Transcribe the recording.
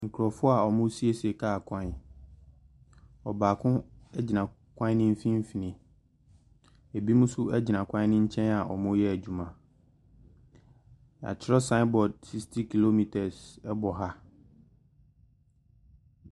Nkurɔfoɔ a wɔresiesie kaa kwan. Ɔbaako gyina kwan no mfimfini. Ebinom nso gyina kwan no nkyɛn a wɔreyɛ adwuma. Wɔatwerɛ sign board 60 kilometres wɔ ha.